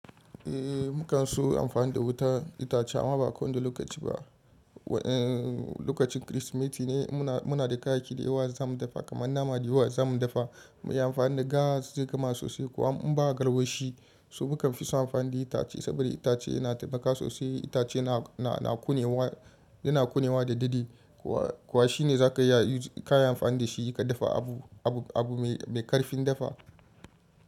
Eh mukan so amfani da wuta itace amma ba ko wanda lokaci ba. Waƴan lokacin Kirsimeti ne muna, muna da kayayyaki da yawa za mu dafa kamar nama da yawa za mu dafa. Mu yi amfani da gas zai gama sosai. Ko in ba garwashi, so mu kan fi son amfani da itace saboda itace yana taimaka sosai. Itace na, na, na kƙonewa, yana ƙonewa da daidai. Kuwa shi ne za ka iya, ka yi amfani da shi ka dafa abu, abu, abu mai, mai ƙarfin dafa.